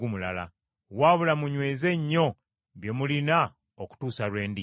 Wabula munyweze nnyo kye mulina okutuusa lwe ndijja.